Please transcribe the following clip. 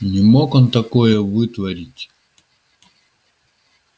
не мог он такое вытворить